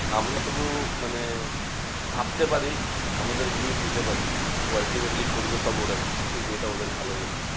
আমরা শুধু মানে ভাবতে পারি আমাদের views দিতে পারি। কিন্তু ultimately করবে সব ওরাই, যেটা ওদের ভালো মনে হয়।